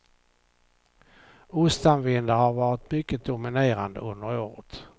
Ostanvindar har varit mycket dominerande under året.